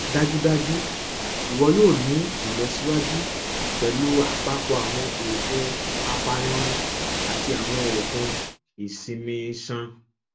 dajudaju iwọ yoo ni ilọsiwaju pẹlu apapọ awọn oogun apanirun ati awọn oogun isinmi iṣan